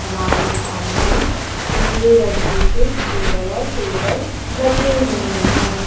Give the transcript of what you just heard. हमारे सामने भूरे रंग के कुछ चेयर और टेबल लगे हुए हैं।